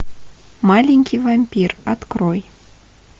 маленький вампир открой